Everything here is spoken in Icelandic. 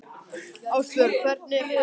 Ástbjörg, hvernig er veðurspáin?